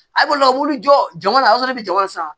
A ko la m'u jɔ jɔnɔ de bɛ jama san